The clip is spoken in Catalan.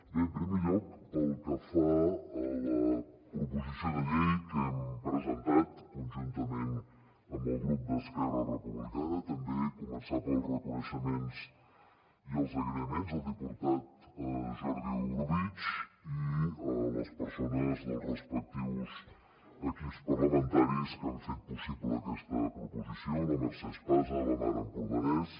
bé en primer lloc pel que fa a la proposició de llei que hem presentat conjuntament amb el grup d’esquerra republicana també començar pels reconeixements i els agraïments al diputat jordi orobitg i les persones dels respectius equips parlamentaris que han fet possible aquesta proposició la mercè espasa la mar empordanès